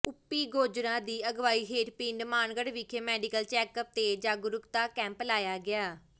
OP Gojra ਦੀ ਅਗਵਾਈ ਹੇਠ ਪਿੰਡ ਮਾਨਗੜ ਵਿਖੇ ਮੈਡੀਕਲ ਚੈੱਕਅਪ ਤੇ ਜਾਗਰੂਕਤਾ ਕੈਂਪ ਲਾਇਆ ਗਿਆ